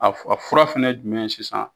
A fu a fura fana ye jumɛn ye sisan.